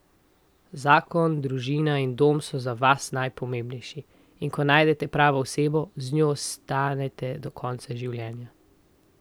Zakon, družina in dom so za vas najpomembnejši, in ko najdete pravo osebo, z njo ostanete do konca življenja.